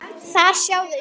Þar sjá þau skrýtna sjón.